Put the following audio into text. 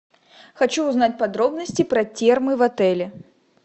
хочу узнать подробности про термы в отеле